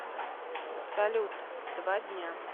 салют два дня